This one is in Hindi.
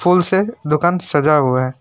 फूल से दुकान सजा हुआ है।